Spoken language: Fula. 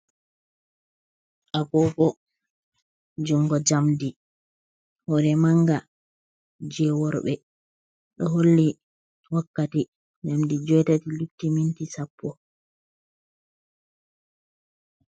Agogo jungo jamdi, hore manga je worɓɓe. ɗo holle wakkati jamdi jui'tati lutti minti sappo.